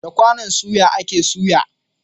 Da kwanon soya a ke soya